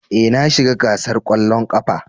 Ee, na shiga gasar kwallon kafa.